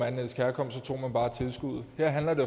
etnisk herkomst tog man bare tilskuddet her handler det